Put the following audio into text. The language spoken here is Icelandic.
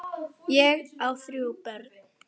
Ég á þrjú börn.